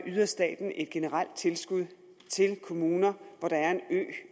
yder staten et generelt tilskud til de kommuner hvor der er